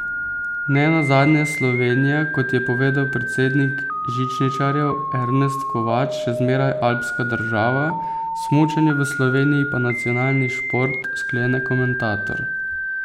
Ne nazadnje je Slovenija, kot je povedal predsednik žičničarjev Ernest Kovač, še zmeraj alpska država, smučanje v Sloveniji pa nacionalni šport, sklene komentator.